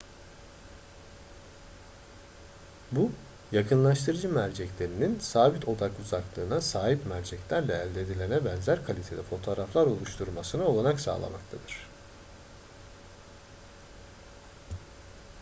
bu yakınlaştırıcı merceklerinin sabit odak uzaklığına sahip merceklerle elde edilene benzer kalitede fotoğraflar oluşturmasına olanak sağlamaktadır